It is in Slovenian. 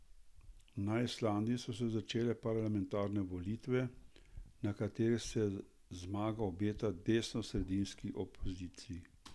Na Islandiji so se začele parlamentarne volitve, na katerih se zmaga obeta desnosredinski opoziciji.